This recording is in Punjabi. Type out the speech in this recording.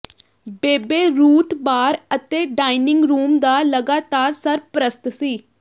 ਬੇਬੇ ਰੂਥ ਬਾਰ ਅਤੇ ਡਾਇਨਿੰਗ ਰੂਮ ਦਾ ਲਗਾਤਾਰ ਸਰਪ੍ਰਸਤ ਸੀ